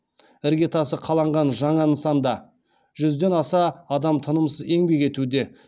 іргетасы қаланған жаңа нысанда жүзден астам адам тынымсыз еңбек етуде